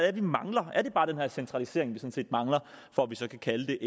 er vi mangler er det bare den her centralisering vi mangler for at vi kan kalde det